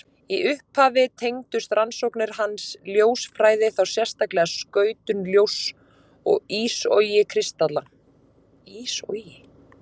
Í upphafi tengdust rannsóknir hans ljósfræði, þá sérstaklega skautun ljóss og ísogi kristalla.